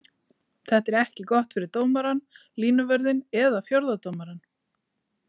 Þetta er ekki gott fyrir dómarann, línuvörðinn eða fjórða dómarann.